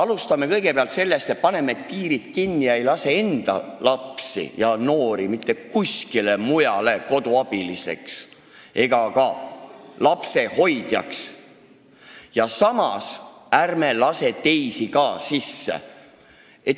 Alustame sellest, et paneme piirid kinni: ei lase enda lastel ega noortel mitte kuskile mujale koduabiliseks ega lapsehoidjaks minna, samas ärme laseme ka teisi sisse.